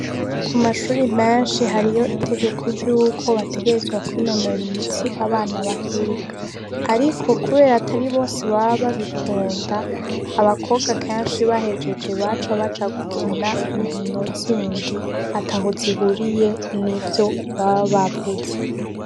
Ku mashure menshi hariyo itegeko ry'uko bategerezwa kwinonora imitsi, abana bahiga. Ariko kubera atari bose baba babikunda, abakobwa kenshi bahejeje baca baja gukina inkino zindi ataho zihuriye n'ivyo baba bavuze.